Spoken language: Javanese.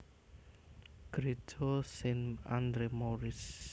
Gréja Saint Andre Maurice